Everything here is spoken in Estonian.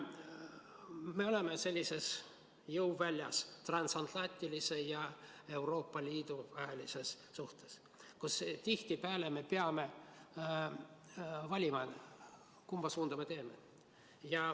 Me oleme sellises jõuväljas, transatlantiline suhe ja Euroopa Liit, me tihtipeale peame valima, kumba suunda me läheme.